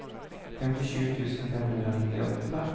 femtisju tusen fem hundre og nittiåtte